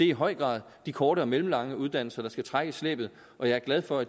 i høj grad de korte og mellemlange uddannelser der skal trække slæbet og jeg er glad for